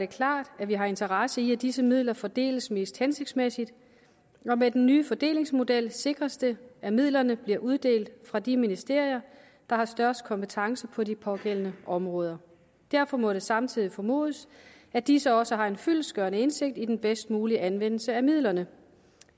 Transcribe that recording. klart at vi har interesse i at disse midler fordeles mest hensigtsmæssigt og med den nye fordelingsmodel sikres det at midlerne bliver uddelt fra de ministerier der har størst kompetence på de pågældende områder derfor må det samtidig formodes at disse også har en fyldestgørende indsigt i den bedst mulige anvendelse af midlerne